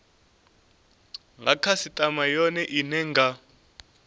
nga khasitama yone ine nga